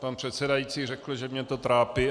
Pan předsedající řekl, že mě to trápí.